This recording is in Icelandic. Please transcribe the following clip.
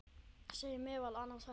segir meðal annars þetta